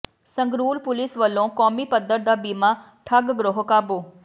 Sangrur police ਵੱਲੋਂ ਕੌਮੀ ਪੱਧਰ ਦਾ ਬੀਮਾ ਠੱਗ ਗਰੋਹ ਕਾਬੂ